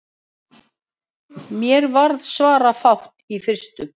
Mér varð svarafátt í fyrstu.